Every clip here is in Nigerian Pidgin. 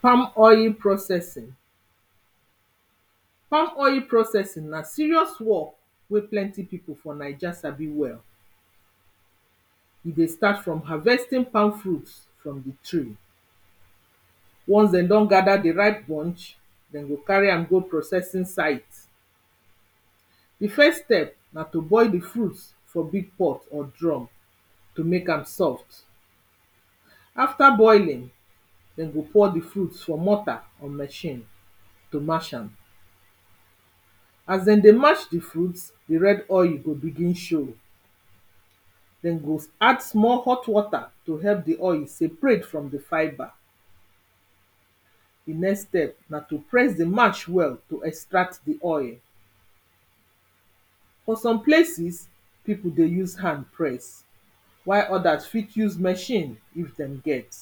palm oil processing palm oil processing na serious work wey plenty people for naija sabi well e dey start from harvesting palm fruits from the tree once dey don gada di ripe bunch dem go carry am go processing site di first step na to boil di fruit for big pot or drum to make am soft after boiling dey go pour di fruit for mortar or machine to mash am as dem dey mash di fruit di red oil go begin show dem go add small hot wata to help di oil seperate from di fibre di next step na to press di mash well to extract di oil for some places, pipo dey use hand press while others fit use machine if dem get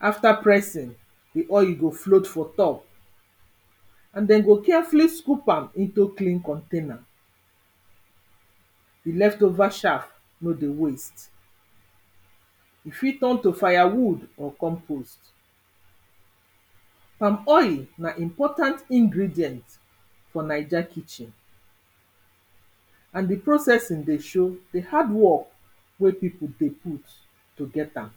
after pressing di oil i go float for top and dey go carefully scoop am into clean container di left over shaft nor dey waste e fit turn to fire wood or compost Palm oil na important ingredient for naija kitchen na de processing dey show de hard work wey pipo dey put to get am